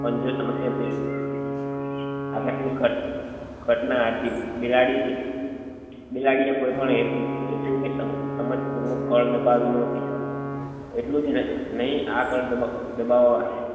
પંજો સમસ્યા પેટી આ સત્ય ઘટના હતી બિલાડી ની બિલાડી એ કોઈ પણ હેતુ હેતુ કે સમજ પૂર્વક કળ દબાવી ન હોતી એટલું જ નહી આ કળ દબ દબાવવા